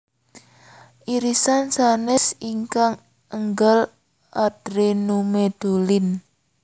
Irisan sanes ingkang enggal adrenomedulin